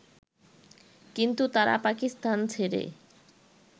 কিন্তু তারা পাকিস্তান ছেড়ে